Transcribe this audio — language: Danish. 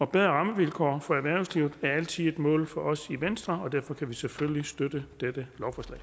bedre rammevilkår for erhvervslivet er altid et mål for os i venstre og derfor kan vi selvfølgelig støtte dette